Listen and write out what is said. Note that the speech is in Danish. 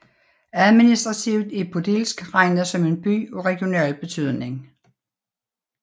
Administrativt er Podilsk regnet som en By af regional betydning